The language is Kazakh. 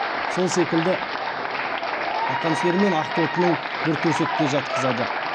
сол секілді ақан сері мен ақтотының бір төсекте жатқызады